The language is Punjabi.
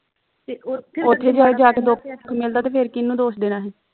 ਉਥੇ ਜਾ ਜਾ ਕੇ ਦੁੱਖ ਮਿਲਦਾ ਤੇ ਫਿਰ ਕਿਹਨੂੰ ਦੋਸ਼ ਦੇਣਾ ਹੀ